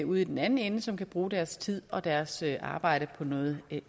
ude i den anden ende som kan bruge deres tid og deres arbejde på noget